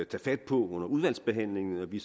tage fat på under udvalgsbehandlingen og vi